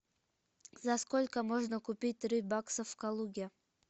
за сколько можно купить три бакса в калуге